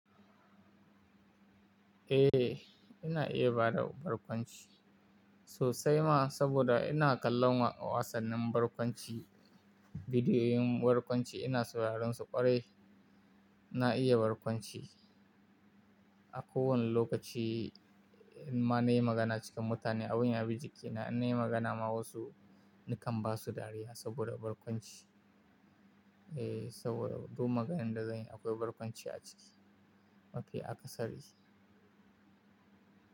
Eh, ina iya bada barkwanci sosai ma, saboda ina kallon wasannin barkwanci, bidiyoyin barkwanci, ina sauraron su ƙwarai. Na iya barkwanci, a kowane lokaci in ma na yi magana cikin mutane abun yabi jikina, in na yi magana ma wasu nakan ba su dariya saboda barkwanci. Eh, saboda duk maganan da zan yi akwai barkwanci a ciki, mafi akasari.